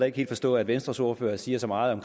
ikke helt forstå at venstres ordfører siger så meget